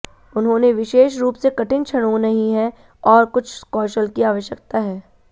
उन्होंने विशेष रूप से कठिन क्षणों नहीं है और कुछ कौशल की आवश्यकता है